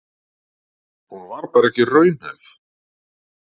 Hún var bara ekki raunhæf.